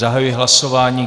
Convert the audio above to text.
Zahajuji hlasování.